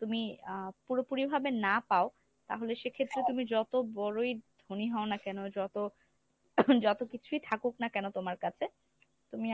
তুমি আহ পুরোপুরি ভাবে না পাও তাহলে সেক্ষেত্রে তুমি যত বড়ই ধনী হও না কেন যত যত কিছুই থাকুক না কেন তোমার কাছে, তুমি